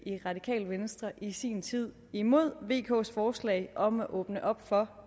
i radikale venstre i sin tid imod vks forslag om at åbne op for